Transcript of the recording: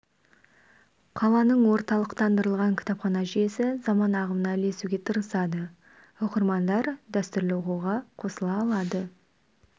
қаланың орталықтандырылған кітапхана жүйесі заман ағымына ілесуге тырысады оқырмандар дәстүрлі оқуға қосыла алады